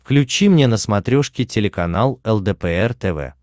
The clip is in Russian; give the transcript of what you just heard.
включи мне на смотрешке телеканал лдпр тв